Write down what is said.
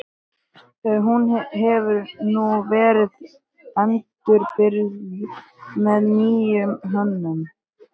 Hann hefur nú verið endurbyggður með nýrri hönnun.